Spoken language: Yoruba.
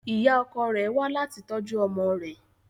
Ìyá ọkọ rẹ̀ wá láti tọ́jú ọmọ rẹ